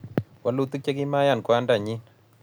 wolutik chekimaiyan kwandanyin